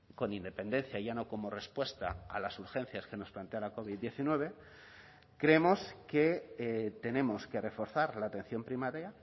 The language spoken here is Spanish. con independencia ya no como respuesta a las urgencias que nos plantea la covid diecinueve creemos que tenemos que reforzar la atención primaria